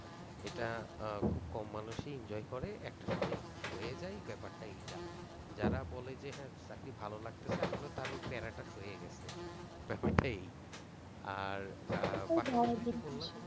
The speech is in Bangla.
এটা খুব মানুষ ই enjoy করে একটা সময় সয়ে যায় ব্যাপার টা এই টা, যারা বলে যে হ্যাঁ চাকরি ভালো লাগতেছে আসলে তার ওই টা সয়ে গেছে। ব্যাপার টা এই। আর